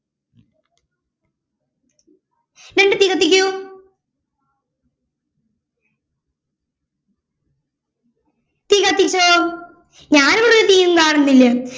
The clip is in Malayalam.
രണ്ട് തീ കത്തികൂ തീ കത്തിച്ചോ ഞാനൊരു തീയും കാണുന്നില്ല